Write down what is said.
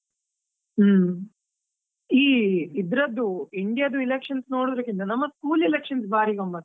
ಹುಮ್ಮ್, ಈ ಇದ್ರದ್ದು India ದ್ದು elections ನೋಡುದಕ್ಕಿಂತ, ನಮ್ಮ school elections ಬಾರಿ ಗಮ್ಮತ್.